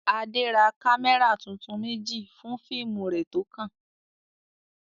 Adé ra kámẹ́rà tuntun méjì fún fíìmù rẹ̀ tó kàn.